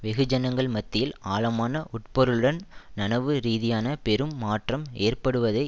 வெகுஜனங்கள் மத்தியில் ஆழமான உட்பொருளுடன் நனவு ரீதியான பெரும் மாற்றம் ஏற்படுவதை